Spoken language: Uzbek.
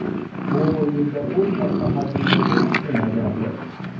Bu o‘yinda u katta hajmdagi ishni bajardi.